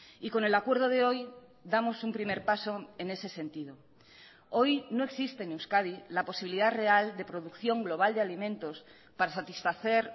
y con el acuerdo de hoy damos un primer paso en ese sentido hoy no existe en euskadi la posibilidad real de producción global de alimentos para satisfacer